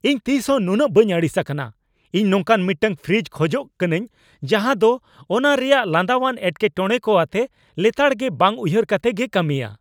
ᱤᱧ ᱛᱤᱥ ᱦᱚᱸ ᱱᱩᱱᱟᱹᱜ ᱵᱟᱹᱧ ᱟᱹᱲᱤᱥ ᱟᱠᱟᱱᱟ ᱾ ᱤᱧ ᱱᱚᱝᱠᱟᱱ ᱢᱤᱫᱴᱟᱝ ᱯᱷᱨᱤᱡᱽ ᱠᱷᱚᱡᱚᱜ ᱠᱟᱹᱱᱟᱹᱧ ᱡᱟᱦᱟᱸ ᱫᱚ ᱚᱱᱟ ᱨᱮᱭᱟᱜ ᱞᱟᱸᱫᱟᱣᱟᱱ ᱮᱴᱠᱮᱴᱚᱬᱮ ᱠᱚ ᱟᱛᱮ ᱞᱮᱛᱟᱲᱜᱮ ᱵᱟᱝ ᱩᱭᱦᱟᱹᱨ ᱠᱟᱛᱮ ᱜᱮᱭ ᱠᱟᱹᱢᱤᱭᱟ !